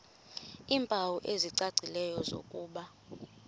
iimpawu ezicacileyo zokuba